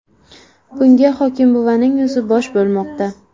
Bunga hokimbuvaning o‘zi bosh bo‘lmoqda.